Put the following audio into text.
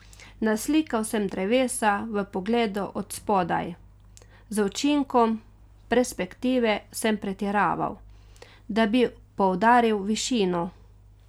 Naslikal sem drevesa v pogledu od spodaj, z učinkom perspektive sem pretiraval, da bi poudaril višino.